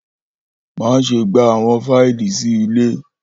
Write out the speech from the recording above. Maṣe gba awọn faili si ile!